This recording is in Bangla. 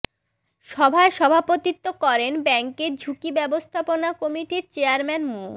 সভায় সভাপতিত্ব করেন ব্যাংকের ঝুঁকি ব্যবস্থাপনা কমিটির চেয়ারম্যান মো